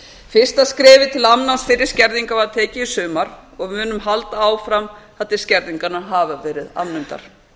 fyrsta skrefið til afnáms fyrri skerðinga var tekið í sumar og við munum halda áfram þar til skerðingarnar hafa verið afnumdar